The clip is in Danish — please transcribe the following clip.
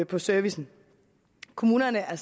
på servicen kommunerne er